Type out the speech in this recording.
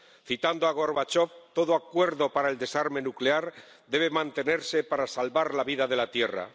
Citando a Gorbachov, todo acuerdo para el desarme nuclear debe mantenerse para salvar la vida de la Tierra.